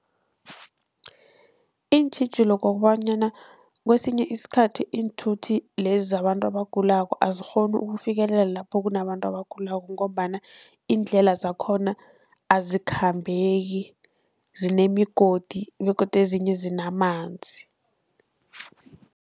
Iintjhijilo ngokobanyana kesinye isikhathi iinthuthi lezi zabantu abagulako azikghoni ukufikelela lapho kunabantu abagulako, ngombana iindlela zakhona azikhambeki zinemigodi begodu ezinye zinamanzi.